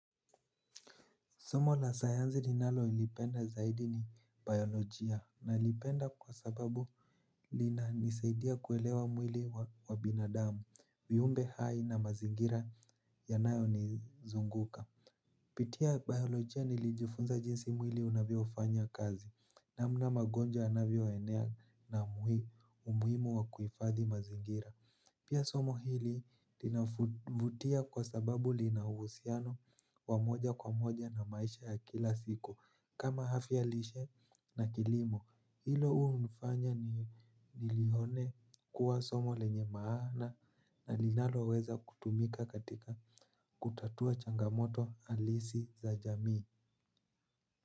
Somo la sayanzi ninalolipenda zaidi ni biolojia nalipenda kwa sababu linanisaidia kuelewa mwili wa binadamu, viumbe hai na mazingira yanayo nizunguka. Pitia biolojia nilijufunza jinsi mwili unavyofanya kazi namna magonja yanavyoenea na umuhimu wa kuifadhi mazingira. Pia somo hili linavutia kwa sababu linauhusiano wa moja kwa moja na maisha ya kila siku kama hafya lishe na kilimo. Hilo ua unifanya ni nilihone kuwa somo lenye maana na linaloweza kutumika katika kutatua changamoto alisi za jamii.